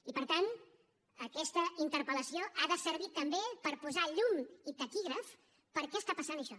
i per tant aquesta interpel·lació ha de servir també per posar llum i taquígrafs per què està passant això